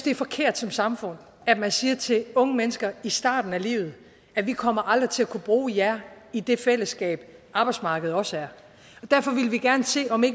er forkert som samfund at man siger til unge mennesker i starten af livet at vi kommer aldrig til at kunne bruge jer i det fællesskab arbejdsmarkedet også er derfor ville vi gerne se om vi